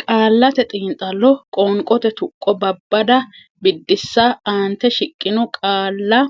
Qaallate Xiinxallo Qoonqote Tuqqo Babbada Biddissa Aante shiqqino qaalla